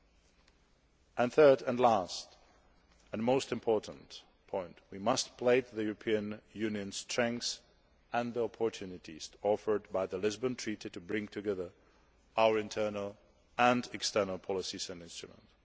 My third and last and most important point is this we must play to the European Union's strengths and the opportunities offered by the Lisbon Treaty to bring together our internal and external policies and instruments.